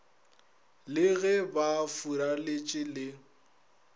le ge ba furaletše le